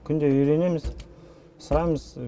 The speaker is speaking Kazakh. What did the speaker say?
күнде үйренеміз сұраймыз